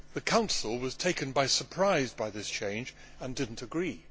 The Council was taken by surprise by this change and did not agree.